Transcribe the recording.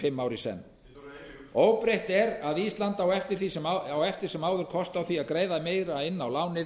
fimm ár í senn óbreytt er að ísland á eftir sem áður kost á því að greiða meira inn á lánið